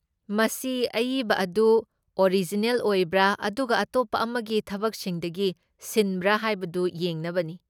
ꯃꯁꯤ ꯑꯏꯕ ꯑꯗꯨ ꯑꯣꯔꯤꯖꯤꯅꯦꯜ ꯑꯣꯏꯕ꯭ꯔꯥ ꯑꯗꯨꯒ ꯑꯇꯣꯞꯄ ꯑꯃꯒꯤ ꯊꯕꯛꯁꯤꯡꯗꯒꯤ ꯁꯤꯟꯕ꯭ꯔꯥ ꯍꯥꯏꯕꯗꯨ ꯌꯦꯡꯅꯕꯅꯤ ꯫